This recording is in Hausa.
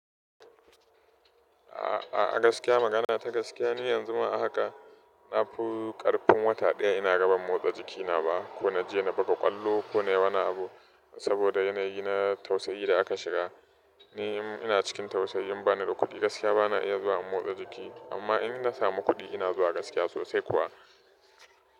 A'a gaskiya magana ta gaskiya ni yanzu ma ahaka. Na fi ƙarfin wata ɗaya ina gaba motsa jikina ba ko na je na baka ƙwallo ko nayi wani abu. Saboda yanayi na tausayi da aka shiga. Ni ina cikin tausayi ban da kuɗi gaskiya bana iya zuwa in motsa jiki. Amma in na samu kuɗi ina zuwa gaskiya sosai kuwa.